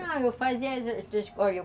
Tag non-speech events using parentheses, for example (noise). Não, eu fazia (unintelligible)